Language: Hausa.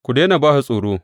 Ku daina ba su tsoro.